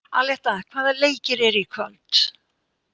Aletta, hvaða leikir eru í kvöld?